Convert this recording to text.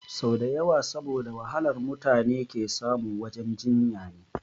Sau dawa saboda wahalar mutune ke samu wajen jinya ne